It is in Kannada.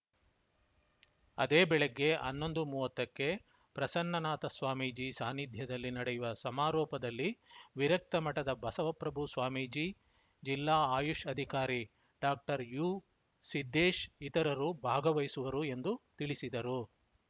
ಅದೇ ಬೆಳಿಗ್ಗೆ ಹನ್ನೊಂದು ಮೂವತ್ತಕ್ಕೆ ಪ್ರಸನ್ನನಾಥ ಸ್ವಾಮೀಜಿ ಸಾನಿಧ್ಯದಲ್ಲಿ ನಡೆಯುವ ಸಮಾರೋಪದಲ್ಲಿ ವಿರಕ್ತ ಮಠದ ಬಸವಪ್ರಭು ಸ್ವಾಮೀಜಿ ಜಿಲ್ಲಾ ಆಯುಷ್‌ ಅಧಿಕಾರಿ ಡಾಕ್ಟರ್ಯುಸಿದ್ದೇಶ್‌ ಇತರರು ಭಾಗವಹಿಸುವರು ಎಂದು ತಿಳಿಸಿದರು